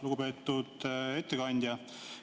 Lugupeetud ettekandja!